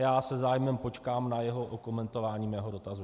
Já se zájmem počkám na jeho okomentování mého dotazu.